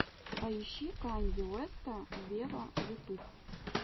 поищи канье уэста вево ютуб